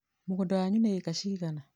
mũgũnda wanyu nĩ ĩĩka cigana?